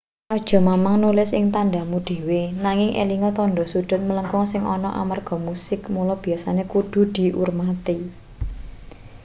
aja mamang nulis ing tandhamu dhewe nanging elinga tandha sudhut mlengkung sing ana amarga musik mula biasane kudu diurmati